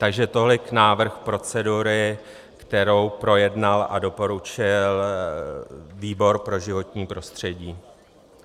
Takže tolik návrh procedury, kterou projednal a doporučil výbor pro životní prostředí.